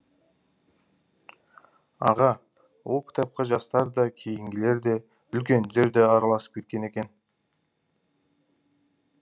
аға ол кітапқа жастар да кейінгілер де үлкендер де араласып кеткен екен